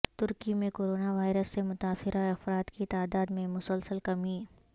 ترکی میں corona virus سے متاثرہ افراد کی تعداد میں مسلسل کمی